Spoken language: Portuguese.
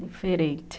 Diferente.